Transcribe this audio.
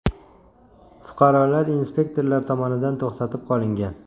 Fuqarolar inspektorlar tomonidan to‘xtatib qolingan.